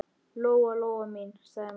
Lóa-Lóa mín, sagði mamma.